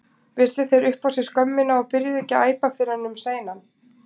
Vissu þeir upp á sig skömmina og byrjuðu ekki að æpa fyrr en um seinan?